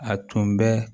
A tun bɛ